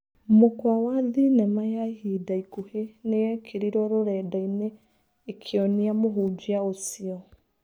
Mũkwa wa thinema ya ihinda ikuhi nĩyekĩrirwo rũrendainĩ ĩkĩonia mũhunjia ucio.